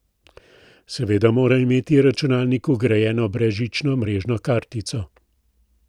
Seveda mora imeti računalnik vgrajeno brezžično mrežno kartico.